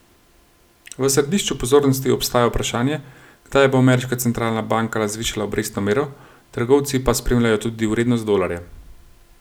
V središču pozornosti ostaja vprašanje, kdaj bo ameriška centralna banka zvišala obrestno mero, trgovci pa spremljajo tudi vrednost dolarja.